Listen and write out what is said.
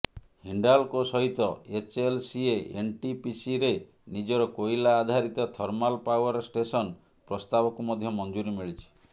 ହିଣ୍ଡାଲକୋ ସହିତ ଏଚଏଲସିଏ ଏନଟିପିସିରେ ନିଜର କୋଇଲା ଅଧାରିତ ଥର୍ମାଲ ପାଓ୍ବାର ଷ୍ଟେଶନ ପ୍ରସ୍ତାବକୁ ମଧ୍ୟ ମଞ୍ଜୁରୀ ମିଳିଛି